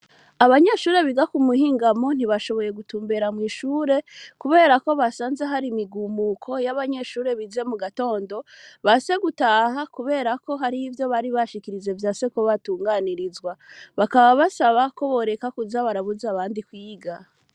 Abanyeshure biga ku muhingamo ntibashoboye gutumbera mw'ishure, kubera ko basanze hari imigumuko y'abanyeshure bize mu gatondo ba se gutaha, kubera ko hari ivyo bari bashikirize vya seko batunganirizwa bakaba basaba ko boreka kuja barabuze abandi kwiga.